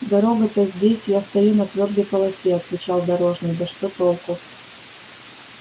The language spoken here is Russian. дорога-то здесь я стою на твёрдой полосе отвечал дорожный да что толку